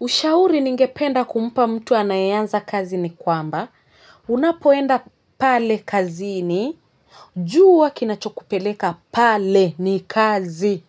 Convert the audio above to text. Ushauri ningependa kumpa mtu anayeanza kazi ni kwamba, unapoenda pale kazini, jua kinachokupeleka pale ni kazi,